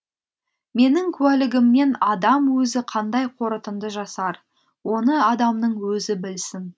менің куәлігімнен адам өзі қандай қорытынды жасар оны адамның өзі білсін